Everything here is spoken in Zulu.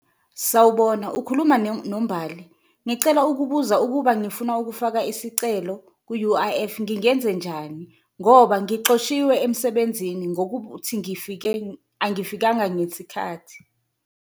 Sawubona ukhuluma noMbali, ngicela ukubuza ukuba ngifuna ukufaka isicelo ku-U_I_F ngingenze njani ngoba ngixoshiwe emsebenzini ngokuthi angifakanga ngesikhathi.